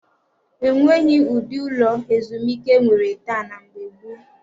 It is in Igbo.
E nweghị ụdị ụlọ ezumike e nwere taa na mgbe gboo.